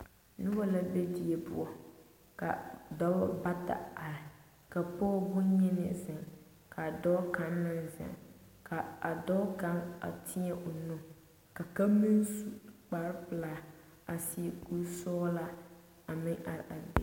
Noba la be die poɔ ka dɔba bata are ka pɔge boŋyeni zeŋ ka dɔɔ kaŋ meŋ zeŋ ka a dɔɔ kaŋ a teɛ o nu ka kaŋ meŋ su kparepelaa a seɛ kuri sɔglaa a meŋ are a be.